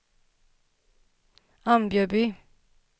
Ambjörby